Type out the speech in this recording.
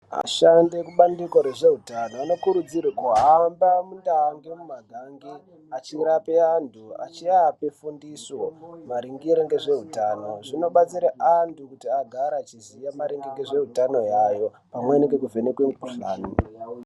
Vashandi vekubandiko rezvehutano vanokurudzirwa kuhamba munda nemumagange achirape antu achivapa fundiso maringe nezvehutano zvinobatsira antu kuti agare achiziva maringe ngezvehutano hwavo pamwepo nekuvhenekwa mikuhlani yawo.